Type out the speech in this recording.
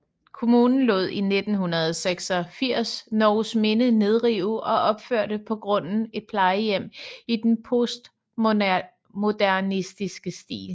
Kommunen lod i 1986 Norgesminde nedrive og opførte på grunden et plejehjem i en postmodernistisk stil